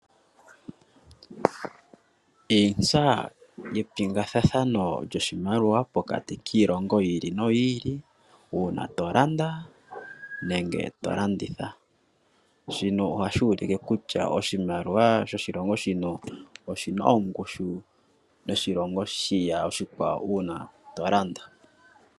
Iintsa yepingathathano lyoshimaliwa pokati kiilongo yi ili noyi ili uuna to landa nenge to landitha, shino ohashi u like kutya oshimaliwa sho shilongo shino oshina ongushu yoshilongo shiya oshikwawo uuna to landa.